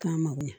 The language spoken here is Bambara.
K'a mago ɲɛ